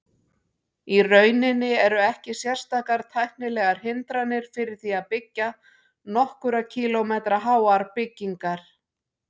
Í rauninni eru ekki sérstakar tæknilegar hindranir fyrir því að byggja nokkurra kílómetra háar byggingar.